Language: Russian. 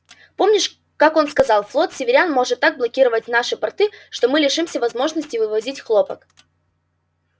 помнишь как он сказал флот северян может так блокировать наши порты что мы лишимся возможности вывозить хлопок